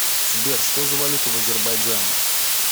сбер что за валюта в азербайджане